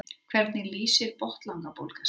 hvernig lýsir botnlangabólga sér